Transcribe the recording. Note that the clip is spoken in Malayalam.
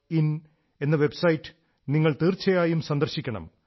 ഇൻ എന്ന വൈബ്സൈറ്റ് നിങ്ങൾ തീർച്ചയായും സന്ദർശിക്കണം